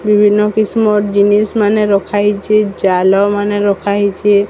ବିଭିନ୍ନ କିସମର ଜିନିଷମାନ ରଖାହେଇଚେ। ଜାଲ ମାନେ ରଖା ହେଇଚେ।